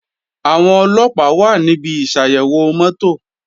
Àwọn Ọlọ́pàá wà níbi ìsàyẹ̀wò mọ́tò